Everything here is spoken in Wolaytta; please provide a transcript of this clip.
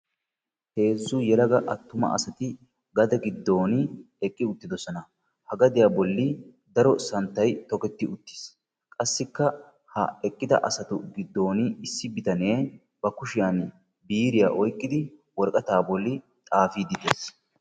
Heezzu yelaga attuma asati gade giddooni eqqi uttidosona. Ha gadiya bolli daro santtay toketti uttis. Qassikka ha eqqida asatu giddooni issi bitanee ba kushiyan biiriya oyiqqidi worqataa bolli xaafiiddi des.